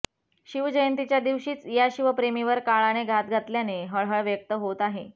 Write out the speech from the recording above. शिवजंयतीच्या दिवशीच या शिवप्रेमीवर काळाने घाला घातल्याने हळहळ व्यक्त होत आहे